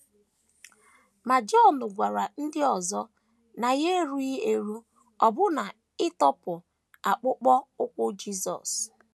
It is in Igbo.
Ma Jọn gwara ndị ọzọ na ya erughị eru ọbụna ịtọpụ akpụkpọ ụkwụ Jisọs..